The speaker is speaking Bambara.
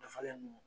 Dafalen don